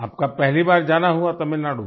आपका पहली बार जाना हुआ तमिलनाडु